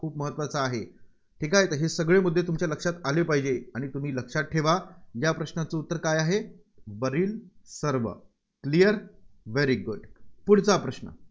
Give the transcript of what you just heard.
खूप महत्त्वाचा आहे. ठीक आहे, तसे सगळे मुद्दे तुमच्या लक्षात आले पाहिजे. आणि तुम्ही लक्षात ठेवा या प्रश्नाचं उत्तर काय आहे, वरील सर्व. clear very good पुढचा प्रश्न.